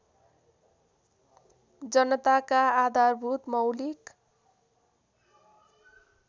जनताका आधारभूत मौलिक